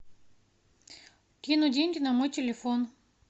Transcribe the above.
кинуть деньги на мой телефон